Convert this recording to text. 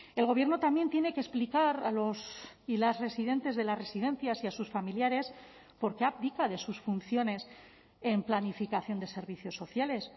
el gobierno también tiene que explicar a los y las residentes de las residencias y a sus familiares por qué abdica de sus funciones en planificación de servicios sociales